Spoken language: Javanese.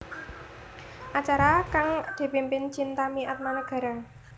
Acara kang dipimpin Chintami Atmanegara